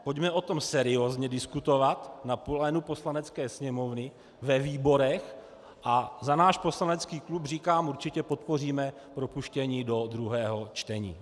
Pojďme o tom seriózně diskutovat na plénu Poslanecké sněmovny, ve výborech a za náš poslanecký klub říkám: určitě podpoříme propuštění do druhého čtení.